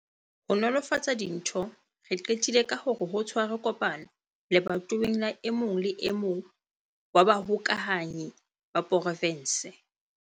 Ho nolofatsa dintho, re qetile ka hore ho tshwarwe kopano lebatoweng la e mong le e mong wa bahokahanyi ba provense.